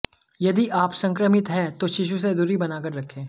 यदि आप संक्रमित हैं तो शिशु से दूरी बनाकर रखें